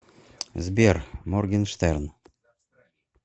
сбер моргенштерн